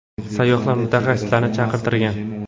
Sayyohlar mutaxassislarni chaqirtirgan.